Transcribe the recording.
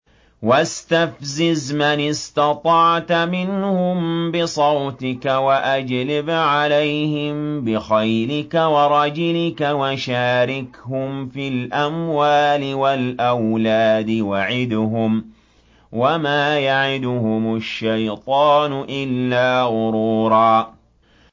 وَاسْتَفْزِزْ مَنِ اسْتَطَعْتَ مِنْهُم بِصَوْتِكَ وَأَجْلِبْ عَلَيْهِم بِخَيْلِكَ وَرَجِلِكَ وَشَارِكْهُمْ فِي الْأَمْوَالِ وَالْأَوْلَادِ وَعِدْهُمْ ۚ وَمَا يَعِدُهُمُ الشَّيْطَانُ إِلَّا غُرُورًا